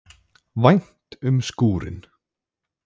Vænt um skúrinn.